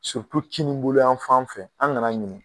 kininboloyan fan fɛ an ŋan'a ɲini